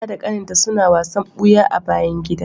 Aisha da kaninta suna wasan buya a bayan gida.